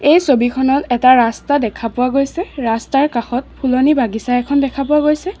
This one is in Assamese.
এই ছবিখনত এটা ৰাস্তা দেখা পোৱা গৈছে ৰাস্তাৰ কাষত ফুলনি বাগিচা এখন দেখা পোৱা গৈছে।